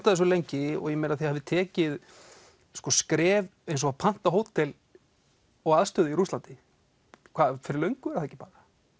að þessu lengi og þið hafið tekið skref eins og að panta hótel og aðstöðu í Rússlandi fyrir löngu er það ekki bara